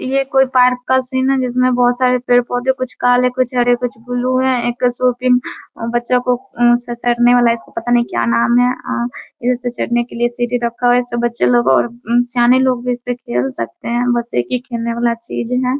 यह कोई पार्क का सीन हैं जिसमे बहुत सारे पेड़ -पौधे कुछ काले कुछ हरे कुछ ब्लू हैं बच्चो का फिसलने वाला इसका पता नही क्या नाम हैं इस पर चढ़ने के लिए सीढ़ी रखा हुआ हैं इस पे बच्चे लोग और सयाने लोग भी इसपे खेल सकते हैं बस एक ही खेलने वाला चीज है ।